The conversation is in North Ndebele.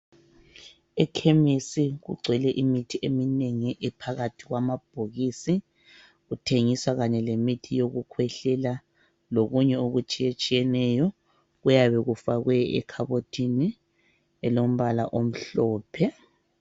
Ekhemisi kugcwele imithi eminengi ephakathi kwamabhokisi. Kuthengiswa kanye lemithi yokukhwehlela lokunye okutshiyetshiyeneyo kuyabe kufakwe ekhabothini elombala omhlophe.